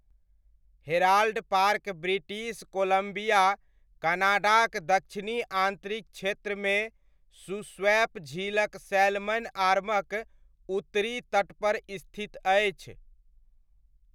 Herald Park British Columbia, कनाडाक दक्षिणी आन्तरिक क्षेत्रमे शूस्वैप झीलक सैल्मन आर्मक उत्तरी तटपर स्थित अछि।